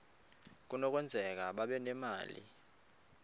kunokwenzeka babe nemali